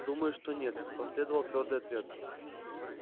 думаю что нет последовал твёрдый ответ